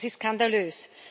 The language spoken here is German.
Das ist skandalös!